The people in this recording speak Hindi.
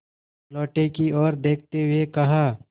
लोटे की ओर देखते हुए कहा